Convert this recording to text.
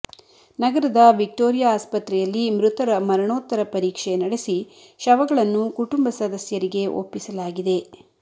ನಗರದ ವಿಕ್ಟೋರಿಯಾ ಆಸ್ಪತ್ರೆಯಲ್ಲಿ ಮೃತರ ಮರಣೋತ್ತರ ಪರೀಕ್ಷೆ ನಡೆಸಿ ಶವಗಳನ್ನು ಕುಟುಂಬ ಸದಸ್ಯರಿಗೆ ಒಪ್ಪಿಸಲಾಗಿದೆ